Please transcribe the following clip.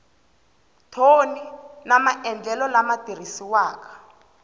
thoni na maendlelo lama tirhisiwaka